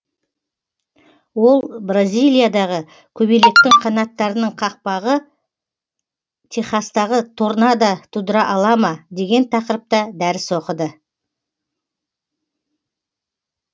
ол бразилиядағы көбелектің қанаттарының қақпағы техастағы торнада тудыра ала ма деген тақырыпта дәріс оқыды